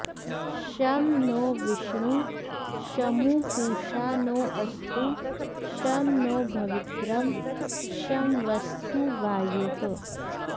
शं नो॒ विष्णुः॒ शमु॑ पू॒षा नो॑ अस्तु॒ शं नो॑ भ॒वित्रं॒ शम्व॑स्तु वा॒युः